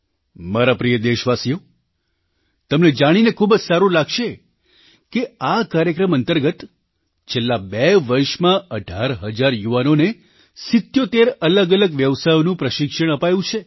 મારા પ્રિય દેશવાસીઓ તમને જાણીને ખૂબ જ સારું લાગશે કે આ કાર્યક્રમ અંતર્ગત છેલ્લાં બે વર્ષમાં અઢાર હજાર યુવાનોને 77 અલગઅલગ વ્યવસાયઓનું પ્રશિક્ષણ અપાયું છે